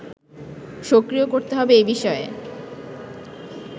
সক্রিয় করতে হবে এ বিষয়ে